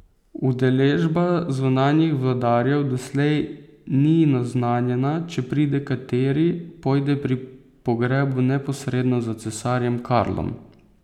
Udeležba zunanjih vladarjev doslej ni naznanjena, če pride kateri, pojde pri pogrebu neposredno za cesarjem Karlom.